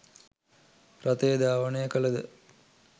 රථය ධාවනය කළද